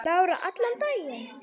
Lára: Allan daginn?